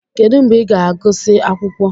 Kedu mgbe ị ga-agụsị akwụkwọ?